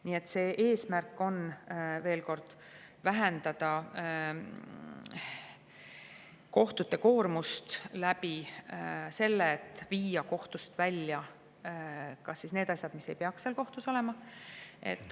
Nii et eesmärk on, ütlen veel kord, vähendada kohtute koormust nii, et viia kohtust välja need asjad, mis ei peaks seal olema.